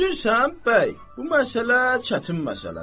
Bilirsən, bəy, bu məsələ çətin məsələdir.